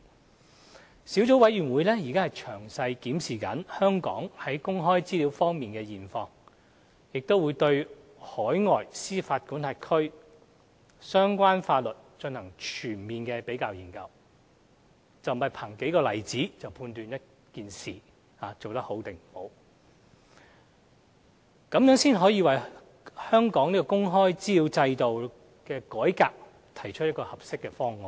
該小組委員會正詳細檢視香港在公開資料方面的現況，並對海外司法管轄區的相關法律進行全面的比較研究，不是憑數個例子便可判斷一件事是否做得好，這才能為香港的公開資料制度改革提出一個合適的方案。